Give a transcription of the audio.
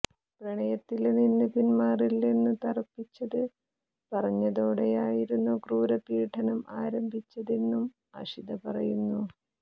പ്രണയത്തില് നിന്ന് പിന്മാറില്ലെന്ന് തറപ്പിച്ചത് പറഞ്ഞതോടെയായിരുന്നു ക്രൂരമായ പീഡനം ആരംഭിച്ചതെന്നും അഷിത പറയുന്നു